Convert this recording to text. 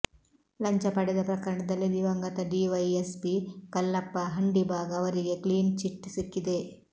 ಲಂಚ ಪಡೆದ ಪ್ರಕರಣದಲ್ಲಿ ದಿವಂಗತ ಡಿವೈಎಸ್ಪಿ ಕಲ್ಲಪ್ಪ ಹಂಡಿಭಾಗ್ ಅವರಿಗೆ ಕ್ಲೀನ್ ಚಿಟ್ ಸಿಕ್ಕಿದೆ